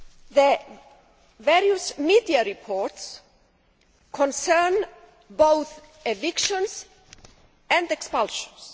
The various media reports concern both evictions and expulsions.